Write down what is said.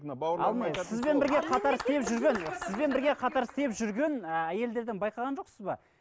сізбен бірге қатар істеп жүрген сізбен бірге қатар істеп жүрген ііі әйелдерден байқаған жоқсыз ба